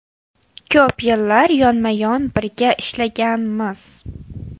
Ko‘p yillar yonma-yon birga ishlaganmiz.